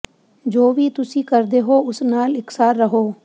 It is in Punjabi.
ਜੋ ਵੀ ਤੁਸੀਂ ਕਰਦੇ ਹੋ ਉਸ ਨਾਲ ਇਕਸਾਰ ਰਹੋ